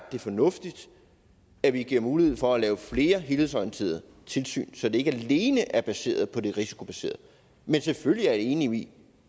er fornuftigt at vi giver mulighed for at lave flere helhedsorienterede tilsyn så det ikke alene er baseret på det risikobaserede men selvfølgelig er jeg enig